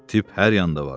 Tip hər yanda var.